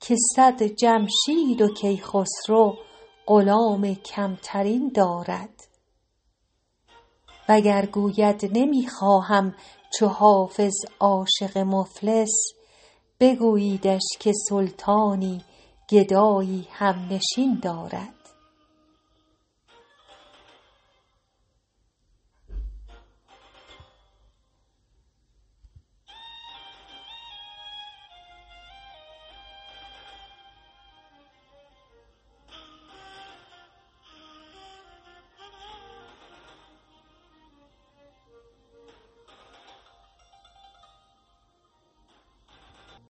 که صد جمشید و کیخسرو غلام کم ترین دارد وگر گوید نمی خواهم چو حافظ عاشق مفلس بگوییدش که سلطانی گدایی هم نشین دارد